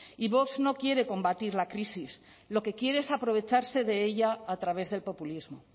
y vox no quiere combatir la crisis lo que quiere es aprovecharse de ella a través del populismo